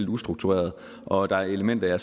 ustruktureret og at der er elementer